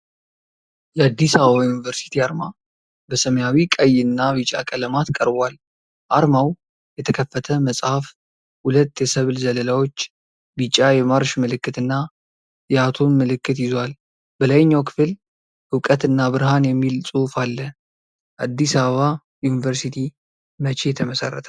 የአዲስ አበባ ዩኒቨርሲቲ አርማ በሰማያዊ፣ ቀይ እና ቢጫ ቀለማት ቀርቧል። አርማው የተከፈተ መጽሐፍ፣ ሁለት የሰብል ዘለላዎች፣ ቢጫ የማርሽ ምልክት እና የአቶም ምልክት ይዟል። በላይኛው ክፍል "እውቀት እና ብርሃን" የሚል ጽሑፍ አለ። አዲስ አበባ ዩኒቨርሲቲ መቼ ተመሰረተ?